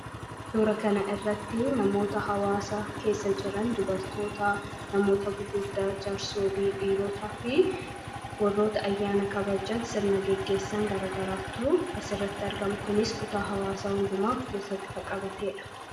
Suura kana irratti namoota hawaasa keessa jiran dubartoota namoota gugurdaa jaarsolii dhiirootaa fi warroota ayyaana kabajan sirna geggeessan gara garaatuu as irratti argama. Kunis kutaa hawaasaa hundumaaf keessatti kan qabateedha.